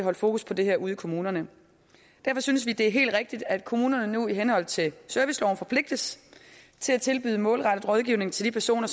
er fokus på det her ude i kommunerne derfor synes vi det er helt rigtigt at kommunerne nu i henhold til serviceloven forpligtes til at tilbyde målrettet rådgivning til de personer